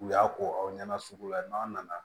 U y'a ko aw ɲɛna sugu la n'an nana